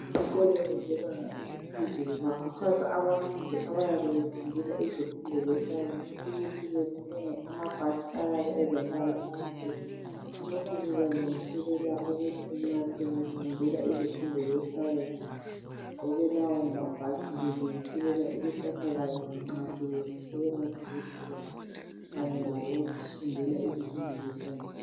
Izikolo zebanga eliphezulu bakhuthaza abafundi abenza izifundo zescience ukuthi bathenge amabhatshi ayabe elombala omhlophe. Lokhu kubalungiselela ukuthi nxa sebefundela izifundo zescience begqoke lawo mabhatshi belungiselela ikusasa labo nxa sebengodokotela kanye labafundela izifundo zescience.